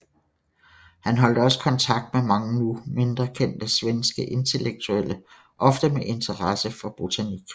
Han holdt også kontakt med mange nu mindre kendte svenske intellektuelle ofte med interesse for botanik